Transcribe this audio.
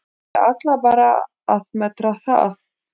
Ég ætla bara að meta það.